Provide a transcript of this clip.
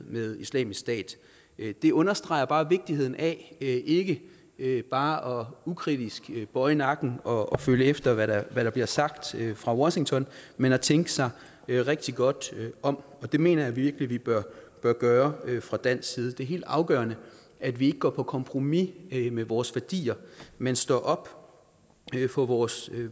med islamisk stat det understreger vigtigheden af ikke bare ukritisk at bøje nakken og følge efter hvad der der bliver sagt fra washington men at tænke sig rigtig godt om og det mener jeg virkelig vi bør gøre fra dansk side det er helt afgørende at vi ikke går på kompromis med vores værdier men står op for for vores